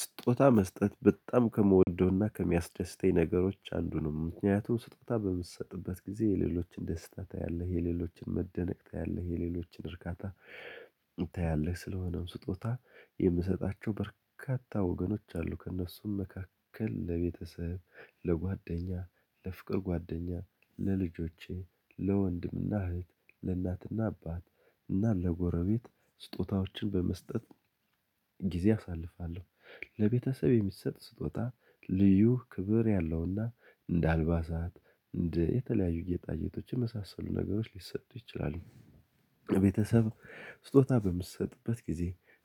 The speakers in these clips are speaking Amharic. ስጦታ መስጠት በጣም ከምወደውና ከሚያስደስተኝ ነገሮች አንዱ ነው። ምክንያቱም ስጦታ በምትሰጥበት ጊዜ የሌሎችን ደስታ ታያለህ የሌሎችን መደነቅ ታያለህ የሌሎችን እርካታ ታያለህ። ስለሆነም ስጦታ የምሰጣቸው በርካታ ወገኖች አሉ ከእነሱም መካከል ለቤተሰብ ለጓደኛ ለፍቅር ጓደኛ ለልጆቼ ለወንድምና እህት ለእናትና አባት እና ለጎረቤት ስጦታዎችን በመስጠት ጊዜ አሳልፋለሁ። ለቤተሰብ የሚሰጥ ስጦታ ልዩ ክብር ያለውና እንደ አልባሳት እንደ የተለያዩ የጌጣጌቶችም የመሳሰሉ ነገሮች ሊሰጡ ይችላሉ። ቤተሰብ ስጦታ በምትሰጥበት ጊዜ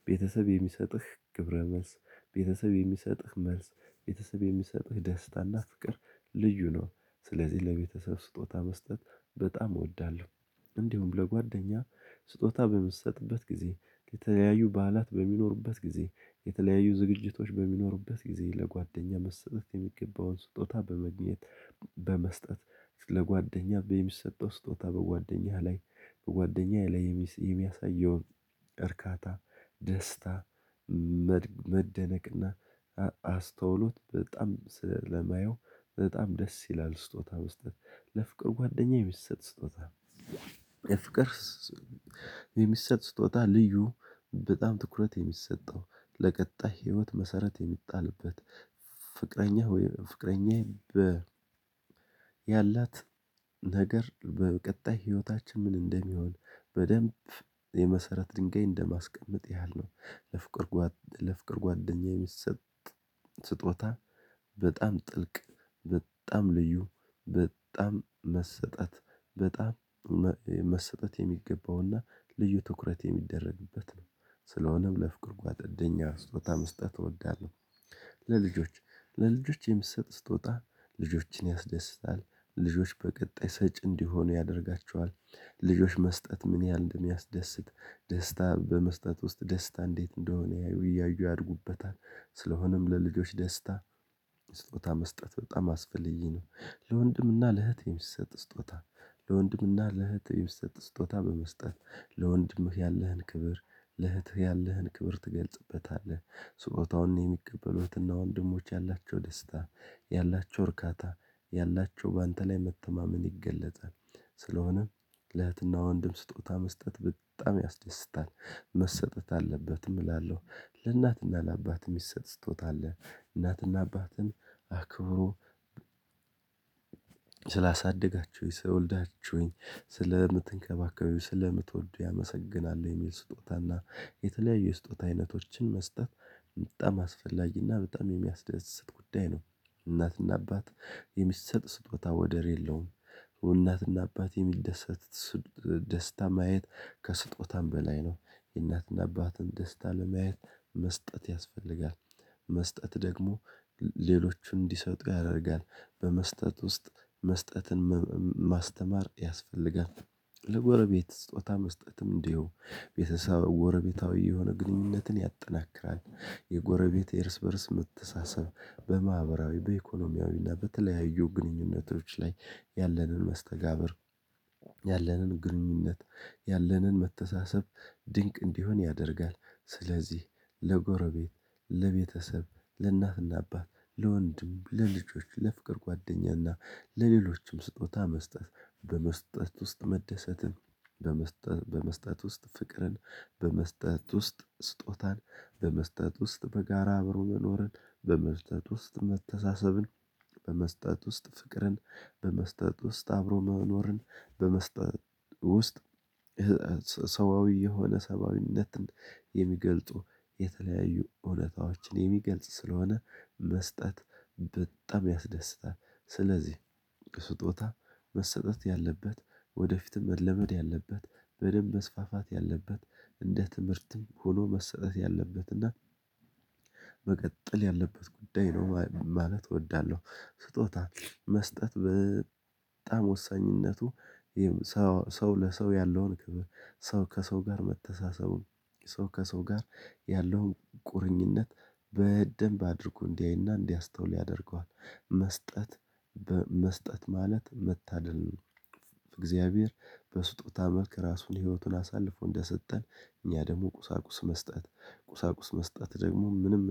ቤተሰብ የሚሰጥህ ግብረ መልስ ቤተሰብ የሚሰጥህ መልስ ቤተሰብ የሚሰጥህ ደስታና ፍቅር ልዩ ነው። ስለዚህ ለቤተሰብ ስጦታ መስጠት በጣም እወዳለሁ። እንዲሁም ለጓደኛ ስጦታ በምሰጥበት ጊዜ የተለያዩ በዓላት በሚኖሩበት ጊዜ የተለያዩ ዝግጅቶች በሚኖሩበት ጊዜ ለጓደኛ መስጠት የሚገባውን ስጦታ በመግኘት በመስጠት ለጓደኛ በሚስ ሰጠው ስጦታ በጓደኛህ ላይ በጓደኛዬ ላይ የሚስ የሚያሳየውን እርካታ ደስታ መደነቅና አስተውሎት በጣም ስለማየው በጣም ደስ ይላል ስጦታ መስጠት። ለፍቅር ጓደኛዬ የሚሰጥ ስጦታ የፍቅር የሚሰጥ ስጦታ ልዩ በጣም ትኩረት የሚሰጠው ለቀጣይ ህይወት መሰረት የሚጣልበት ፍቅረኛ ፍቅረኛየ ያላት ነገር በቀጣይ ህይወታችን ምን እንደሚሆን በደንብ የመሰረት ድንጋይ እንደማስቀመጥ ያህል ነው። ለፍቅር ለፍቅር ጓደኛዬ የሚሰጥ ስጦታ በጣም ጥልቅ በጣም ልዩ በጣም መሰጠት በጣም መሰጠት የሚገባውና ልዩ ትኩረት የሚደረግበት ነው። ስለሆነም ለፍቅር ጓደኛ ስጦታ መስጠት እወዳለሁ። ለልጆች ለልጆች የምትሰጥ ስትወጣ ልጆችን ያስደስታል ልጆች በቀጣይ ሰጪ እንዲሆኑ ያደርጋቸዋል ልጆች መስጠት ምን ያህል እንደሚያስደስት ደስታ በመስጠት ውስጥ ደስታ እንዴት እንደሆነ ያዩ ያዩ ያድጉበታል ስለሆነም ለልጆች ደስታ ስጦታ መስጠት በጣም አስፈልጊ ነው። ለወንድምና ለእህቴም የሚሰጥ ስጦታ ለወንድምና ለእህቴም የሚሰጥ ስጦታ በመስጠት ለወንድምህ ያለህን ክብር ለእህትህ ያለህን ክብር ትገልጽበታለህ ስጦታውን የሚቀበሉትና ወንድሞች ያላቸው ደስታ ያላቸው እርካታ ያላቸው በአንተ ላይ መተማመን ይገለጣል። ስለሆነም ለህትና ወንድም ስጦታ መስጠት በጣም ያስደስታል መሰጠት አለበትም እላለሁ ለእናትና ለአባት የሚሰጥ ስጦታ አለ። እናትና አባትን አክብሮ ስላሳደጋችሁኝ ስለወልዳችሁኝ ስለምትንከባከቡኝ ስለምትወዱ ያመሰግናል የሚል ስጦታና የተለያዩ ስጦታ አይነቶችን መስጠት በጣም አስፈላጊና በጣም የሚያስደስት ጉዳይ ነው። እናትና አባት የሚሰጥ ስጦታ ወደር የለውም። እናትና አባት የሚደሰት ደስታ ማየት ከስጦታም በላይ ነው የእናትና አባትን ደስታ ለማየት መስጠት ያስፈልጋል። መስጠት ደግሞ ሌሎቹን እንዲሰጥ ያደርጋል በመስጠት ውስጥ መስጠትን ማስተማር ያስፈልጋል። ለጎረቤት ስጦታ መስጠትም እንዲሁ ቤተሰብ ጎረቤታዊ የሆነ ግንኙነትን ያጠናክራል። የጎረቤት የእርስ በእርስ መተሳሰብ በማህበራዊ በኢኮኖሚያዊ እና በተለያዩ ግንኙነቶች ላይ ያለንን መስተጋብር ያለንን ግንኙነት ያለንን መተሳሰብ ድንቅ እንዲሆን ያደርጋል። ስለዚህ ለጎረቤት ለቤተሰብ ለእናትና አባት ለወንድም ለልጆች ለፍቅር ጓደኛና ለሌሎችም ስጦታ መስጠት በመስጠት ውስጥ መደሰትም በመስጠት በመስጠት ውስጥ ፍቅርን በመስጠት ውስጥ ስጦታን በመስጠት ውስጥ በጋራ አብሮ መኖርን በመስጠት ውስጥ መተሳሰብን በመስጠት ውስጥ ፍቅርን በመስጠት ውስጥ አብሮ መኖርን በመስጠት ውስጥ ሰብአዊ የሆነ ሰብአዊነትን የሚገልጡ የተለያዩ እውነታዎችን የሚገልጽ ስለሆነ መስጠት በጣም ያስደስታል። ስለዚህ ስጦታ መሰጠት ያለበት ወደፊትም መለመድ ያለበት በደንብ መስፋፋት ያለበት እንደ ትምህርትም ሆኖ መሰጠት ያለበት እና መቀጠል ያለበት ጉዳይ ነው ማለት እወዳለሁ። ስጦታ መስጠት በጣም ወሳኝነቱ ሰው ለሰው ያለውን ሰው ከሰው ጋር መተሳሰቡን ሰው ከሰው ጋር ያለውን ቁርኝነት በደንብ አድርጎ እንዲያይና እንዲያስተውል ያደርገዋል። መስጠት በመስጠት ማለት መታደል ነው። እግዚአብሔር በስጦታ መልኩ ራሱን ህይወቱን አሳልፎ እንደሰጠን እኛ ደግሞ ቁሳቁስ መስጠት ቁሳቁስ መስጠት ደግሞ ምንም